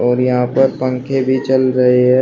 और यहां पर पंखे भी चल रहे हैं।